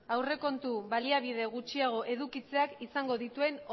aurrekontu baliabide gutxiago edukitzeak izango dituen